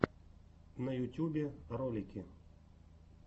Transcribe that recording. на ютубе ролики